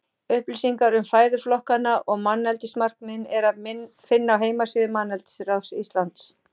Upplýsingar um fæðuflokkana og manneldismarkmiðin er að finna á heimasíðu Manneldisráðs Íslands.